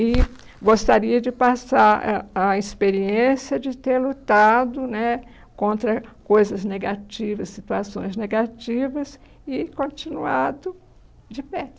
E gostaria de passar a a experiência de ter lutado né contra coisas negativas, situações negativas e continuado de pé.